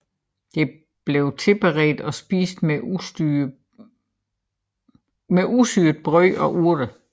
Det blev tilberedt og spist med usyret brød og urter